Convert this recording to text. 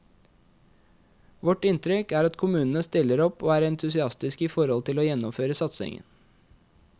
Vårt inntrykk er at kommunene stiller opp og er entusiastiske i forhold til å gjennomføre satsingen.